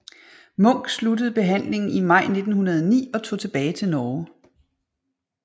Munch sluttede behandlingen i maj 1909 og tog tilbage til Norge